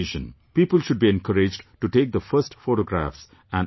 People should be encouraged to take the finest photographs and upload them